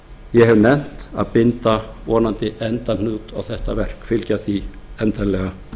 ég hef nefnt að binda vonandi endahnút á þetta verk fylgja því endanlega